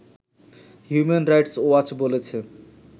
human Rights Watch বলেছে